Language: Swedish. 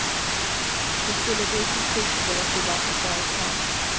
De skulle gå i konkurs om de var privata företag.